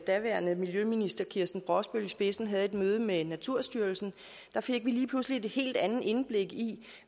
daværende miljøminister kirsten brosbøl i spidsen havde et møde med naturstyrelsen fik vi lige pludselig et helt andet indblik i